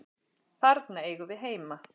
Þarna eigum við heima.